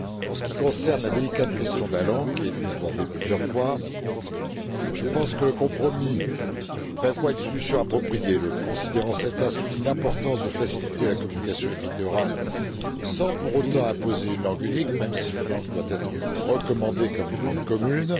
En ce qui concerne la délicate question de la langue, qui a été abordée plusieurs fois, je pense que le compromis prévoit une solution appropriée. Le considérant 7 bis souligne l'importance de faciliter la communication écrite et orale sans pour autant imposer une langue unique, même si une langue doit être recommandée en tant que langue commune.